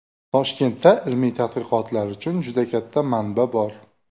Toshkentda ilmiy tadqiqotlar uchun juda katta manba bor.